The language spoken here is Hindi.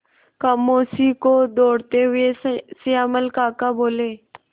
खामोशी को तोड़ते हुए श्यामल काका बोले